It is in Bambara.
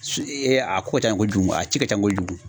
a ko ka can kojugu a ci ka can kojugu.